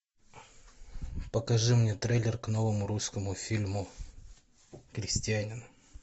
покажи мне трейлер к новому русскому фильму крестьянин